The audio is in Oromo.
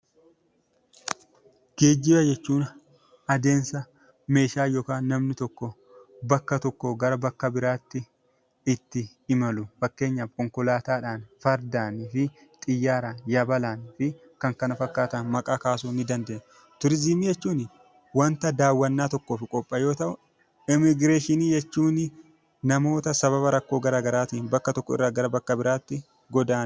Geejjiba jechuun adeemsa namni tokko yookaan meeshaan tokko bakka tokkoo gara bakka biraatti ittiin geeffamu fakkeenyaaf konkolaataadhaan fardaa fi xiyyaaraan yabalaa fi kan kana fakkaatan maqaa kasuu ni dandeenya. Turizimii jechuun wanta daawwannaa tokkoof qophaa'e yoo ta'u, immigireeshinii jechuun namoota rakkoo garaagaraatiin bakka tokkorraa bakka biraatti godaananidha.